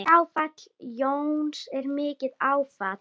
Fráfall Jóns er mikið áfall.